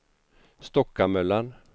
Stockamöllan